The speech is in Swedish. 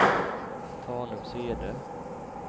Tanumshede